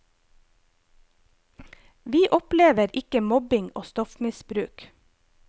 Vi opplever ikke mobbing og stoffmisbruk.